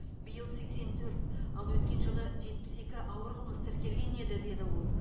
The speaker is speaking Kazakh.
биыл сексен төрт ал өткен жылы жетпіс екі ауыр қылмыс тіркелген еді деді ол